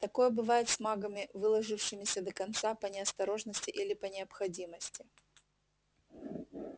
такое бывает с магами выложившимися до конца по неосторожности или по необходимости